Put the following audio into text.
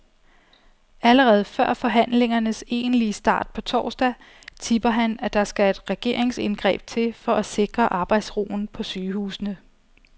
Allerede før forhandlingernes egentlige start på torsdag, tipper han, at der skal et regeringsindgreb til for at sikre arbejdsroen på sygehusene.